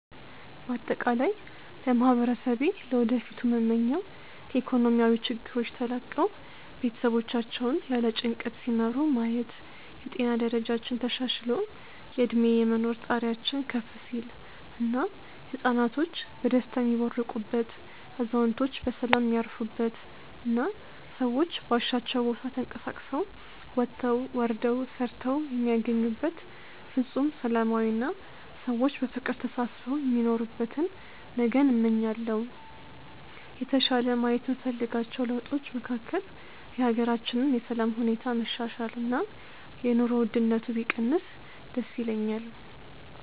በአጠቃላይ ለማህበረሰቤ ለወደፊቱ ምመኘው ከኢኮኖሚያዊ ችግሮች ተላቀው ቤተሰቦቻቸውን ያለ ጭንቀት ሲመሩ ማየት፣ የጤና ደረጃችን ተሻሽሎ የእድሜ የመኖር ጣሪያችን ከፍ ሲል እና ህፃናቶች በደስታ የሚቦርቁበት፣ አዛውንቶች በሰላም የሚያርፉበት እና ሰዎች ባሻቸው ቦታ ተንቀሳቅሰው ወጥተው ወርደው ሰርተው የሚያገኙበት ፍፁም ሰላማዊ አና ሰዎች በፍቅር ተሳስበው የሚኖሩበትን ነገን እመኛለሁ። የተሻለ ማየት የምፈልጋቸው ለውጦች መካከል የሀገራችንን የሰላም ሁኔታ መሻሻል እና የኑሮ ውድነቱ ቢቀንስ ደስ ይለኛል።